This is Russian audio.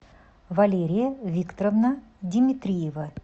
валерия викторовна димитриева